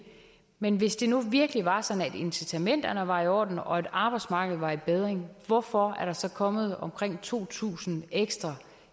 men hvis det nu virkelig var sådan at incitamenterne var i orden og at arbejdsmarkedet var i bedring hvorfor er der så kommet omkring to tusind ekstra